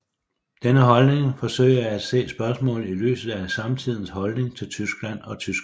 Denne holdning forsøger at se spørgsmålet i lyset af samtidens holdninger til Tyskland og tyskerne